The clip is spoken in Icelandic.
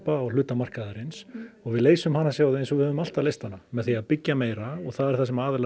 á hluta markaðarins og við leysum hana sjáðu eins og við höfum alltaf leyst hana með því byggja meira og það er það sem aðilar